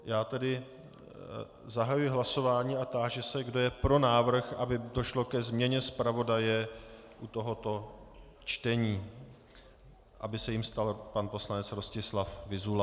Já tedy zahajuji hlasování a táži se, kdo je pro návrh, aby došlo ke změně zpravodaje u tohoto čtení, aby se jím stal pan poslanec Rostislav Vyzula.